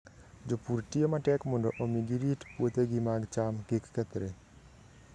Jopur tiyo matek mondo omi girit puothegi mag cham kik kethre.